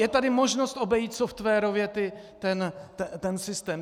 Je tady možnost obejít softwarově ten systém.